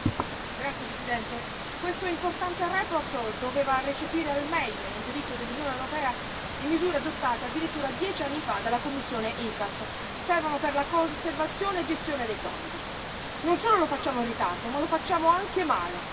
Signora Presidente, onorevoli colleghi, questa importante relazione doveva recepire al meglio, nel diritto dell'Unione europea, le misure adottate addirittura dieci anni fa dalla commissione ICCAT servono per la conservazione e gestione dei tonnidi. Non solo lo facciamo in ritardo, ma lo facciamo anche male.